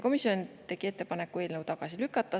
Komisjon tegi ettepaneku eelnõu tagasi lükata.